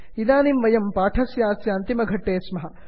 इदानीं वयं पाठस्यास्य अन्तिमघट्टे स्मः